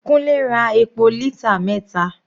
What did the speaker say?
Kunle ra epo lítà mẹta.